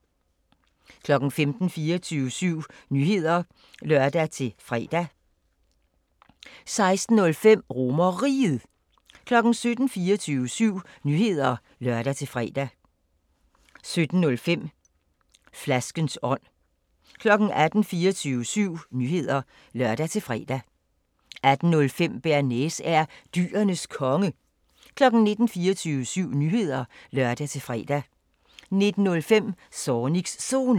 15:00: 24syv Nyheder (lør-fre) 15:05: Er Du Sunshine – highlights 16:00: 24syv Nyheder (lør-fre) 16:05: RomerRiget 17:00: 24syv Nyheder (lør-fre) 17:05: Flaskens ånd 18:00: 24syv Nyheder (lør-fre) 18:05: Bearnaise er Dyrenes Konge 19:00: 24syv Nyheder (lør-fre) 19:05: Zornigs Zone